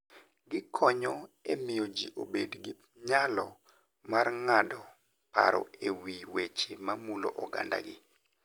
Gikonyo e miyo ji obed gi nyalo mar ng'ado paro e wi weche mamulo ogandagi.